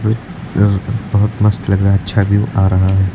बहुत मस्त लग रहा है अच्छा व्यू आ रहा है।